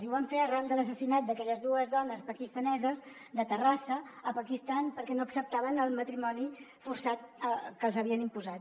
i ho vam fer arran de l’assassinat d’aquelles dues dones pakistaneses de terrassa al pakistan perquè no acceptaven el matrimoni forçat que els havien imposat